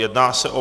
Jedná se o